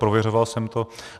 Prověřoval jsem to.